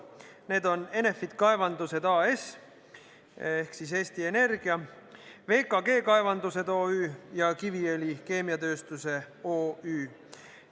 Need on Enefit Kaevandused AS ehk siis Eesti Energia, VKG Kaevandused OÜ ja Kiviõli Keemiatööstuse OÜ.